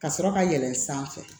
Ka sɔrɔ ka yɛlɛn sanfɛ